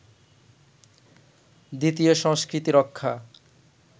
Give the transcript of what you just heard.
দ্বিতীয় সংস্কৃতি রক্ষা